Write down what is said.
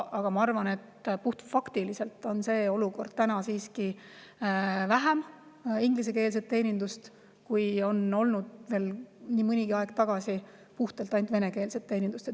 Aga ma arvan, et puhtfaktiliselt on täna siiski vähem ingliskeelset teenindust, kui oli veel mõni aeg tagasi ainult venekeelset teenindust.